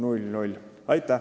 Aitäh!